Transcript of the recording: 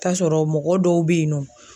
T'a sɔrɔ mɔgɔ dɔw be yen nɔ